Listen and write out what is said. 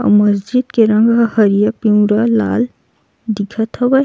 आऊ मस्जिद के रंग हरियर पिवरा लाल दिखत हवय।